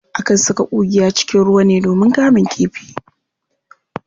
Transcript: Akan saka ƙungiya cikin ruwa ne domin kamun kifi.